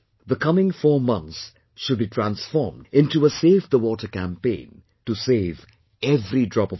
The coming four months should be transformed into a Save the Water Campaign, to save every drop of water